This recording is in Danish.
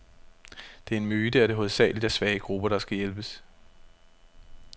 Det er en myte, at det hovedsageligt er svage grupper, der hjælpes.